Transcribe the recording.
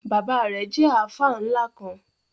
Bábà rẹ̀ jẹ̀ alfa nla kan.